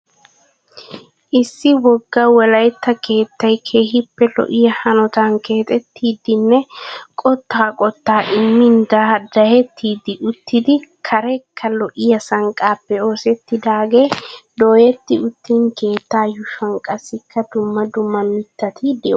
Issi wogga wolaitta keettay keehiippe lo'iya hanotaan keexettidinne qottaa qottaa immin daddahettidi uttidi kareekka lo'ya sanqqaappe oossettidaagee dooyetti uttiin keettaa yuushuwan qassikka dumma dumma mittati de'oosona.